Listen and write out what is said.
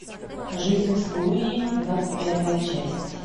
жизнь с луи двадцать первая часть